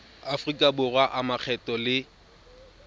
aforika borwa a makgetho le